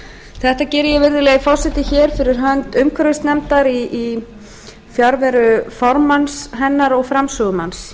þetta geri ég virðulegi forseti hér fyrir hönd umhverfisnefndar í fjarveru formanns hennar og framsögumanns